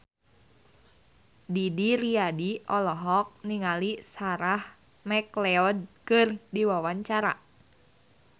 Didi Riyadi olohok ningali Sarah McLeod keur diwawancara